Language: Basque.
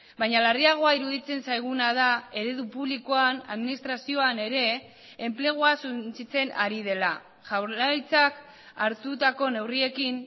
baina larriagoa iruditzen zaiguna da eredu publikoan administrazioan ere enplegua suntsitzen ari dela jaurlaritzak hartutako neurriekin